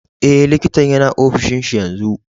Eh, likitan yana ofishin shi yanzu.